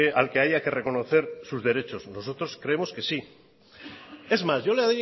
al que haya que reconocer sus derechos nosotros creemos que sí es más yo le